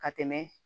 Ka tɛmɛ